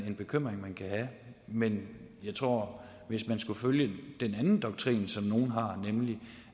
en bekymring man kan have men jeg tror at hvis man skulle følge den anden doktrin som nogle har nemlig